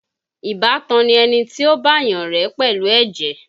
Ìbátan ni ẹni tí ó bá yàn rẹ́ pẹ̀lú ẹ̀jẹ̀